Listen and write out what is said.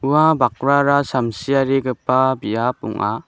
ua bakrara samsiarigipa biap ong·a.